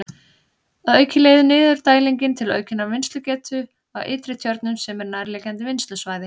Að auki leiðir niðurdælingin til aukinnar vinnslugetu á Ytri-Tjörnum sem er nærliggjandi vinnslusvæði.